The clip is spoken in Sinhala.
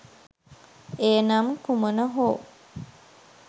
එය නම් කුමන හෝ